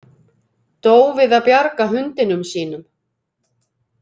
Dó við að bjarga hundinum sínum